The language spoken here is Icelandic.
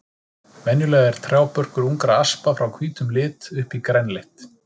Venjulega er trjábörkur ungra aspa frá hvítum lit upp í grænleitt.